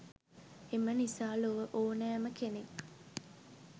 එම නිසා ලොව ඕනෑම කෙනෙක්